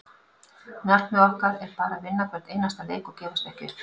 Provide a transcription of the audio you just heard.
Markmið okkar er bara að vinna hvern einasta leik og gefast ekki upp.